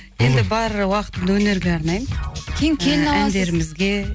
енді бар уақытымды өнерге арнаймын кейін келін аласыз әндерімізге